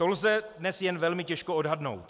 To lze dnes jen velmi těžko odhadnout.